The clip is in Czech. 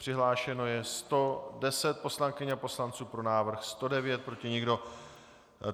Přihlášeno je 110 poslankyň a poslanců, pro návrh 109, proti nikdo.